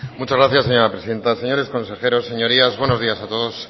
muchas gracias señora presidenta señores consejeros señorías buenos días a todos